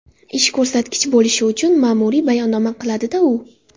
Ish ko‘rsatkich bo‘lishi uchun ma’muriy bayonnoma qiladi-da u.